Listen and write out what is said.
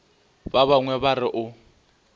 ba bangwe ba re o